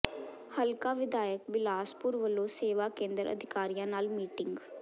ਹਲਕਾ ਵਿਧਾਇਕ ਬਿਲਾਸਪੁਰ ਵੱਲੋਂ ਸੇਵਾ ਕੇਂਦਰ ਅਧਿਕਾਰੀਆਂ ਨਾਲ ਮੀਟਿੰਗ